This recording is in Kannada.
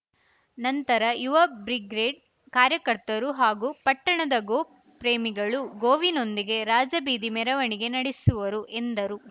ನಂತರ ಯುವ ಬ್ರಿಗ್ರೇಡ್‌ ಕಾರ್ಯಕರ್ತರು ಹಾಗು ಪಟ್ಟಣದ ಗೋಪ್ರೇಮಿಗಳು ಗೋವಿನೊಂದಿಗೆ ರಾಜಬೀದಿ ಮೆರವಣಿಗೆ ನಡೆಸುವರು ಎಂದರು